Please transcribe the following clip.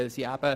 Weshalb dies?